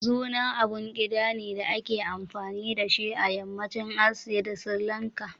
Zurna abun ƙida ne da ake amfani da shi a yammacin Asiya da Sirilanka.